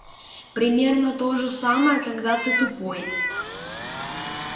примерно то же самое когда ты тупой